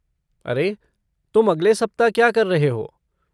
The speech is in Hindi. अरे, तुम अगले सप्ताह क्या कर रहे हो?